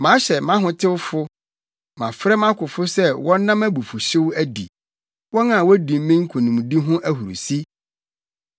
Mahyɛ mʼahotewfo; mafrɛ mʼakofo sɛ wɔnna mʼabufuwhyew adi, wɔn a wodi me nkonimdi ho ahurusi.